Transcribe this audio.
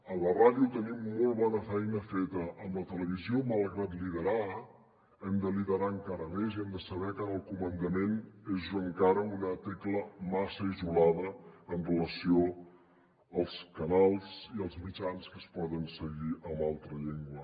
a la ràdio tenim molt bona feina feta amb la televisió malgrat liderar hem de liderar encara més i hem de saber que en el comandament és encara una tecla massa isolada amb relació als canals i els mitjans que es poden seguir amb altra llengua